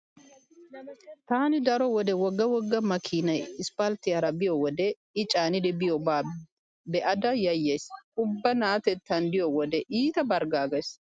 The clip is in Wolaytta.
Taani daro wode wogga wogga makiinay isppalttiyara biyo wode i caanidi biyoba be'ada yayyays. Ubba na'atettan diyo wode iita barggaagays.